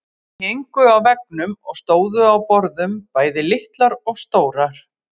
Þær héngu á veggjum og stóðu á borðum, bæði litlar og stórar.